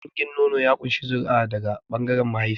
Dangin nono ya ƙunshi zuri'a daga ɓangaren mahaifiya.